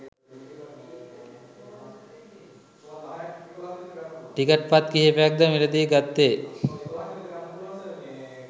ticket පත් කිහිපයක්‌ද මිලදී ගත්තේ